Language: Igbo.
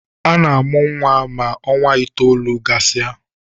Ana-amụ nwa ma ọnwa itoolu gasị a